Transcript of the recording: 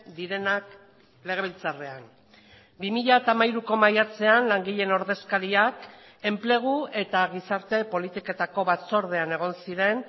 direnak legebiltzarrean bi mila hamairuko maiatzean langileen ordezkariak enplegu eta gizarte politiketako batzordean egon ziren